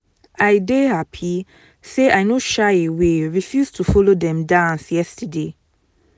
i dey happy say i no shy away refuse to follow dem dance yesterday